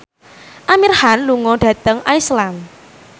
Amir Khan lunga dhateng Iceland